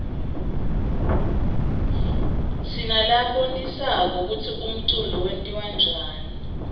sinalabonisa kutsi umculo wentiwaryani